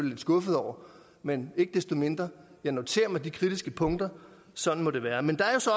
lidt skuffet over men ikke desto mindre noterer jeg mig de kritiske punkter sådan må det være men der er så